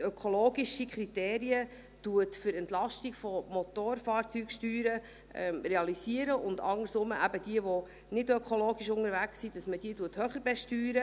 ökologische Kriterien für die Entlastung von Motorfahrzeugsteuern zu realisieren und im Gegenzug diejenigen, die nicht ökologisch unterwegs sind, höher zu besteuern.